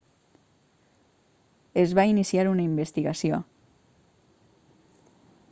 es va iniciar una investigació